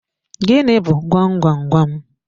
Gịnị bu gwam gwam gwam?